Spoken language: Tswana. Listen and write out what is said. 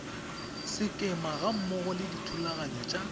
sekema gammogo le dithulaganyo tsa